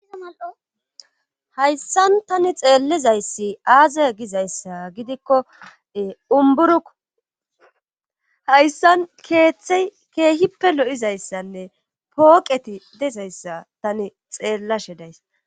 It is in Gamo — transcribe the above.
hayssan tani xeellizayssi aaze gizayssa gidikko umburuku hayssan keeththey keehippe lo7izayssanne pooqeti dezayssa tani xeellashe days